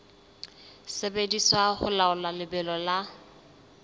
sebediswa ho laola lebelo la